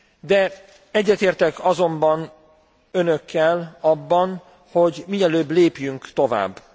De egyetértek azonban önökkel abban, hogy mielőbb lépjünk tovább.